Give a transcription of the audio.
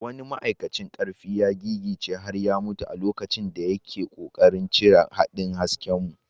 Wani ma’aikacin karfi ya gigice har ya mutu a lokacin da yake kokarin cire haɗin haskenmu.